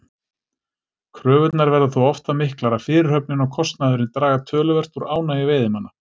Kröfurnar verða þó oft það miklar að fyrirhöfnin og kostnaðurinn draga töluvert úr ánægju veiðimanna.